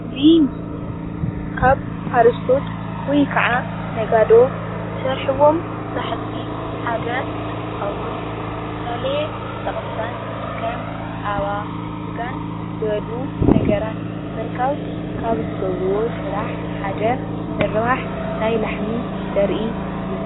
እዚ ምስል ካብ ሓረስቶት ወይካዓ ነጋዶ ዝሰርሕዎም ስራህቲ ሓደ እንትከውን ዝተፈላለየ ጠቅምታት ከም ፀባ ስጋን ዝበሉ ነገራት ንምርካብ ካብ ዝገብርዎ ስራሕ ሓደ ምርባሕ ናይ ላሕሚ ዘርኢ እዩ፡፡